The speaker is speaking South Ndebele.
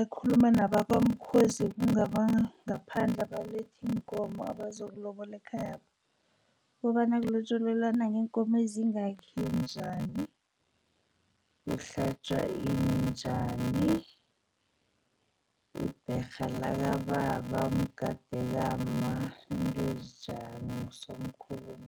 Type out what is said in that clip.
akhuluma nabakwamkhozi. Kungabanga ngaphandle abaletha iinkomo nabazokulobola ekhayapha, kobana kulotjolelwana ngeenkomo ezingakhi njani, kuhlatjwa ini njani, ibherha lakababa, umgade kamma, izinto ezinjalo, ngusomkhulumi.